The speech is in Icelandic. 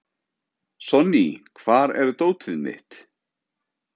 Sonný, hvar er dótið mitt?